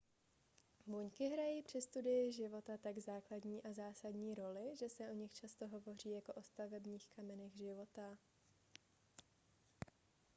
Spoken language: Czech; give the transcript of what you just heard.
buňky hrají při studii života tak základní a zásadní roli že se o nich často hovoří jako o stavebních kamenech života